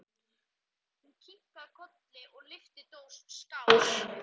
Hún kinkaði kolli og lyfti dós, skál!